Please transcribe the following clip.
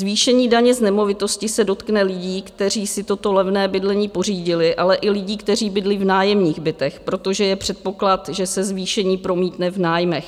Zvýšení daně z nemovitosti se dotkne lidí, kteří si toto levné bydlení pořídili, ale i lidí, kteří bydlí v nájemních bytech, protože je předpoklad, že se zvýšení promítne v nájmech.